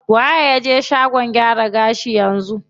Waye ya je shagon gyaran gashi yanzu?